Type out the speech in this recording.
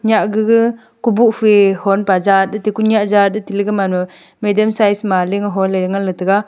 nya ga ga kuboh fe honpa jat ate koyah jat ateley gaman ma medium size ma ling ho le ngan taga.